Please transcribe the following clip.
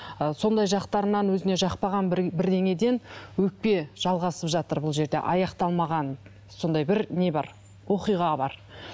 ы сондай жақтарынан өзіне жақпаған бір бірдеңеден өкпе жалғасып жатыр бұл жерде аяқталмаған сондай бір не бар оқиға бар